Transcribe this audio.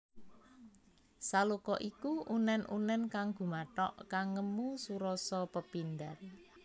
Saloka iku unèn unèn kang gumathok kang ngemu surasa pepindhan